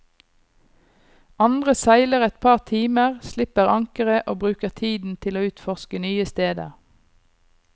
Andre seiler et par timer, slipper ankeret, og bruker tiden til å utforske nye steder.